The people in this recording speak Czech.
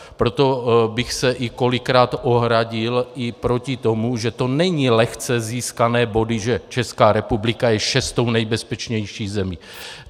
Proto bych se i kolikrát ohradil i proti tomu, že to nejsou lehce získané body, že Česká republika je šestou nejbezpečnější zemí.